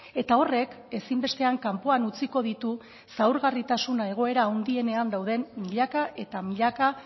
eta horrek ezinbestean kanpoan utziko ditu zaurgarritasun egoera handienean dauden milaka eta milaka